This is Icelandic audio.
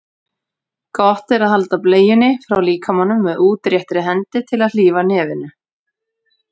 Gott er að halda bleiunni frá líkamanum með útréttri hendi til að hlífa nefinu.